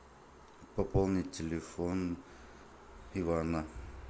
пополнить телефон ивана